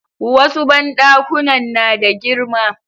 Wasu banɗakunan na da girma